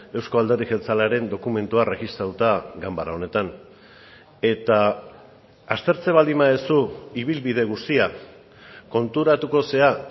euzko alderdi jeltzalearen dokumentua erregistratuta ganbara honetan eta aztertzen baldin baduzu ibilbide guztia konturatuko zara